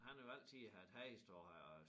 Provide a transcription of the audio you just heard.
Han har jo altid haft heste og har